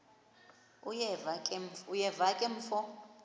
uyeva ke mfo